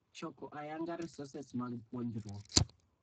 Choko ayanga resources mag puonjruok .